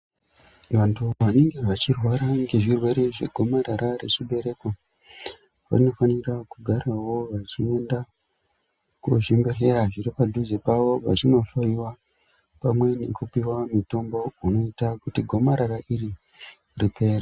Vantu vanenge vachirwara ngezvirwere zvegomarara rechibereko vanofanira kugarawo vachienda kuzvibhedhlera zviri padhuze vachinohloyiwa pamwe nekupiwa mitombo unoita kuti gomarara iri ripere.